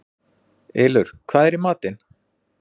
Ylur, hvað er í matinn?